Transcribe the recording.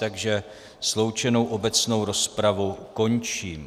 Takže sloučenou obecnou rozpravu končím.